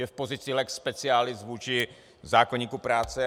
Je v pozici lex specialis vůči zákoníku práce.